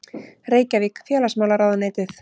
Reykjavík: Félagsmálaráðuneytið.